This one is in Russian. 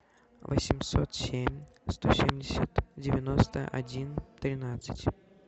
восемьсот семь сто семьдесят девяносто один тринадцать